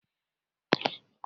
Ee, ụlọ nyocha kọmputa mepere emepe.